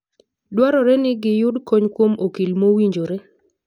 Dwarore ni giyud kony kuom okil mowinjore.